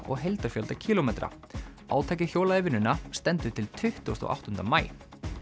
og heildarfjölda kílómetra átakið hjólað í vinnuna stendur til tuttugasta og áttunda maí